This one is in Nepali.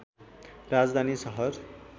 राजधानी सहर